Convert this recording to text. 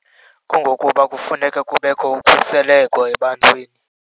Kungokuba kufuneka kubekho utshiseleko ebantwini.